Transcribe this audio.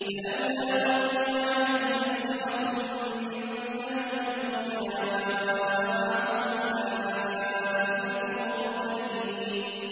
فَلَوْلَا أُلْقِيَ عَلَيْهِ أَسْوِرَةٌ مِّن ذَهَبٍ أَوْ جَاءَ مَعَهُ الْمَلَائِكَةُ مُقْتَرِنِينَ